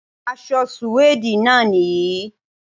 Aṣọ sùwéèdì náà nìyí